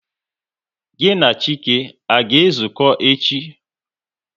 Gịnị na Chike, a ga ezuko echi?